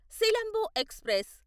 Silambu express